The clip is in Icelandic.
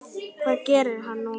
Hvað gerir hann nú?